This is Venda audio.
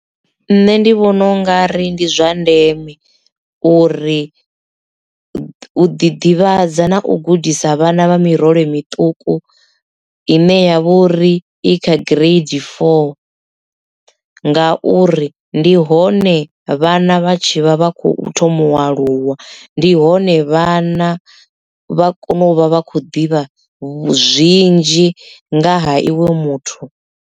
Nṋe ndi vhona u nga ri ndi zwa ndeme uri u ḓivhadza na u gudisa vhana vha miroho miṱuku ine ya vha uri i kha gireidi foo ngauri ndi hone vhana vha tshi vha vha kho thoma u aluwa ndi hone vhana vha kone u vha vha khou ḓivha zwinzhi nga ha iwe muthu.